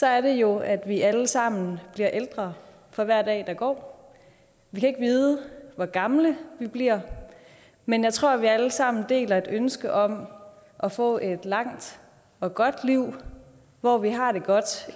er det jo at vi alle sammen bliver ældre for hver dag der går vi kan ikke vide hvor gamle vi bliver men jeg tror vi alle sammen deler et ønske om at få et langt og godt liv hvor vi har det godt